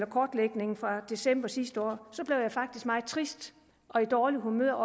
kortlægningen fra december sidste år blev jeg faktisk meget trist og i dårligt humør og